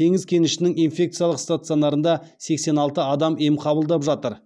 теңіз кенішінің инфекциялық стационарында сексен алты адам ем қабылдап жатыр